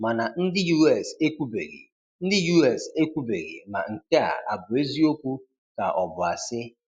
Mana ndị US ekwubeghị ndị US ekwubeghị ma nke a abụ eziokwu ka ọ bụ asị.